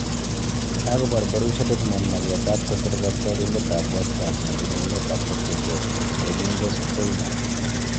kagobaar Borussia Dortmund mageet ab kosir katyarindet ab westham nebunu emet ab portugal Domingos Quina